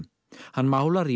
hann málar í